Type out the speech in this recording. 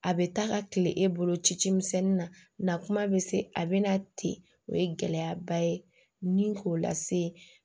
A bɛ taa ka tile e bolo ci ci misɛnnin na kuma bɛ se a bɛna ten o ye gɛlɛyaba ye ni k'o lase